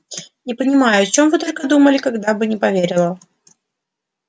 не понимаю о чем вы только думали когда бы не поверила